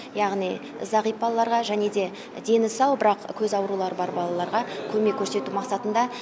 яғни зағип балаларға және де дені сау бірақ көз аурулары бар балаларға көмек көрсету мақсатында